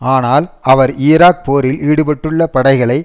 ஆனால் அவர் ஈராக் போரில் ஈடுபட்டுள்ள படைகளை